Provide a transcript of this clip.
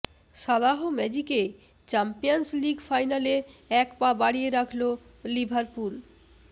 সালাহ ম্যাজিকে Champions League ফাইনালে এক পা বাড়িয়ে রাখল লিভারপুল